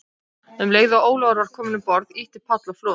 Um leið og Ólafur var kominn um borð, ýtti Páll á flot.